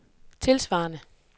tilsvarende